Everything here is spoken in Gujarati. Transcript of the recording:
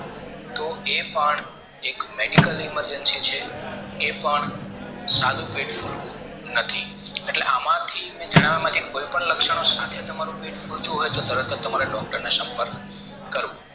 તો એ પણ એક medical emergency છે એ પણ સાદું પેટ ફૂલવું નથી એટલે એમાંથી જણાવવા માટે કોઈ પણ લક્ષણો સાથે તમારું ફુલતું હોય તો તમારે તરત જ doctor નો સંપર્ક કરવો